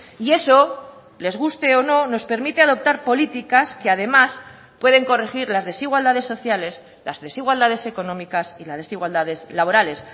y eso les guste o no nos permite adoptar políticas que además pueden corregir las desigualdades sociales las desigualdades económicas y las desigualdades laborales